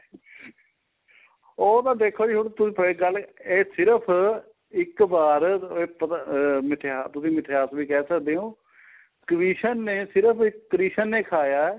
ਉਹ ਤਾਂ ਦੇਖੋ ਜੀ ਹੁਣ ਤੁਸੀਂ ਗੱਲ ਇਹ ਸਿਰਫ਼ ਇੱਕ ਵਾਰ ਅਹ ਤੁਸੀਂ ਮਿਥਾਸ ਵੀ ਕਹਿ ਸਕਦੇ ਹੋ ਕ੍ਰਿਸ਼ਨ ਨੇ ਸਿਰਫ਼ ਕ੍ਰਿਸ਼ਨ ਨੇ ਖਾਇਆ ਏ